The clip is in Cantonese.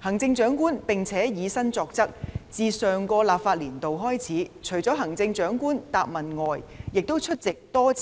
行政長官並且以身作則，自上個立法年度開始，除行政長官答問會外，多次出